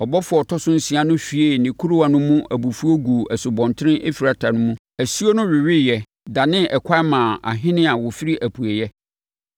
Ɔbɔfoɔ a ɔtɔ so nsia no hwiee ne kuruwa no mu abufuo guu Asubɔnten Eufrate mu. Asuo no weweeɛ, danee ɛkwan maa ahene a wɔfiri apueeɛ.